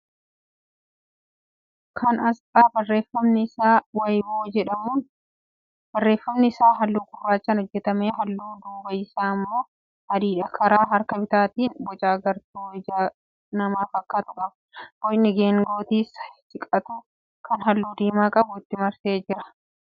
Kun aasxaa barreeffamni isaa 'weibo' jedhuudha. Barreeffamni isaa halluu gurraachaan hojjetame. Halluun duubaa isaa immoo adiidha. Karaa harka bitaatiin boca agartuu ija namaa fakkaatu qaba. Bocni geengootti siqatu, kan halluu diimaa qabu itti marsee jira. 'Weibo'n tajaajila akkamii kenna?